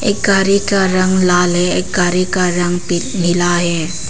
एक गाड़ी का रंग लाल है एक गाड़ी का रंग पि नीला है।